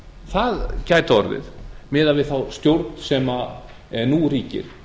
það gæti orðið miðað við þá stjórn sem nú ríkir